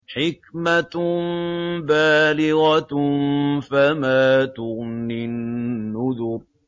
حِكْمَةٌ بَالِغَةٌ ۖ فَمَا تُغْنِ النُّذُرُ